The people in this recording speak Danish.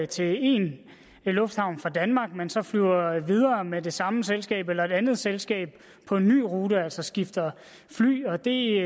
til en lufthavn fra danmark men så flyver videre med det samme selskab eller et andet selskab på en ny rute altså skifter fly og det